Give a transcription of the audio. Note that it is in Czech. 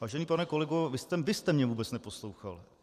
Vážený pane kolego, vy jste mě vůbec neposlouchal.